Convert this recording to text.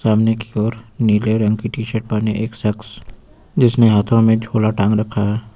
सामने की ओर नीले रंग की टी शर्ट पहने एक शख्स जिसने हाथों में झोला टांग रखा है।